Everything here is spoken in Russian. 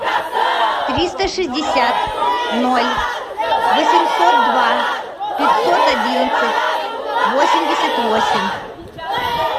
триста шестьдесят ноль восемьсот два пятьсот одиннадцать восемьдесят восемь